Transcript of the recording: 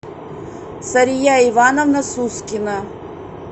сария ивановна сускина